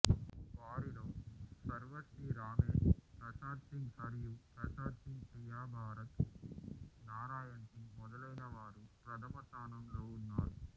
వారిలో సర్వశ్రీ రామేష్ ప్రసాద్ సింగ్ సర్యూ ప్రసాద్ సింగ్ ప్రియభారత్ నారాయణ్ సింగ్ మొదలైనవారు ప్రథమ స్థానంలో ఉన్నారు